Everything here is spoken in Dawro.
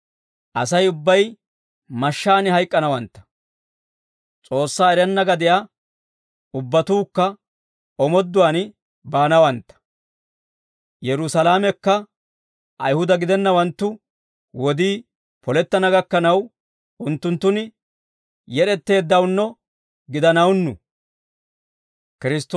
Asay ubbay mashshaan hayk'k'anawantta; S'oossaa erenna gadiyaa ubbatuukka omooduwaan baanawantta; Yerusaalamekka Ayihuda gidennawanttu wodii polettana gakkanaw, unttunttun yed'etteeddawunno gidanawunnu.